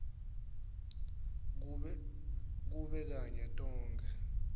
kube kanye tonkhe